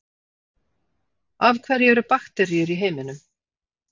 af hverju eru bakteríur í heiminum